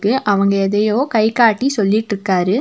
அவங்க எதையோ கை காட்டி சொல்லிட்டுருக்காரு.